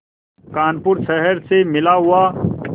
कानपुर शहर से मिला हुआ